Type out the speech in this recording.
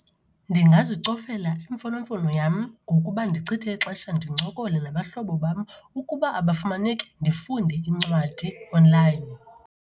Ndingazicofela imfonomfono yam ngokuba ndichithe ixesha ndincokole nabahlobo bam. Ukuba abafumaneki, ndifunde iincwadi online.